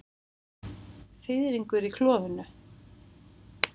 Fiðringur í klofinu.